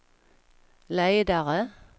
ledare